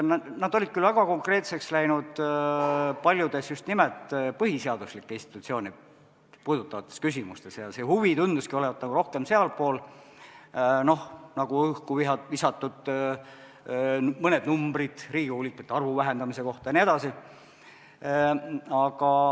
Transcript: Nad olid väga konkreetseks läinud paljudes just nimelt põhiseaduslikke institutsioone puudutavates küsimustes ja see huvi tunduski olevat rohkem sealpool, nagu mõned õhku visatud numbrid Riigikogu liikmete arvu vähendamise kohta jne.